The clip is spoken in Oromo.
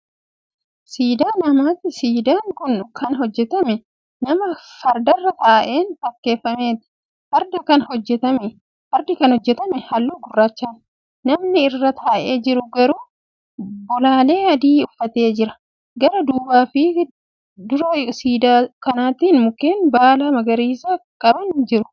Siidaa namaati siidaan Kuni Kan hojjatame nama fardarra taa'een fakkeeffameeti. fardi Kan hojjatame halluu gurraachaani. namni irra taa'ee jiru garuu bolaalee adii uffatee jira. gara duubaafi dura siidaa kanaatin mukkeen baala magariisa gaban ni jirtu.